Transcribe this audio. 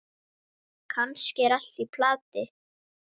Kannski er allt í plati.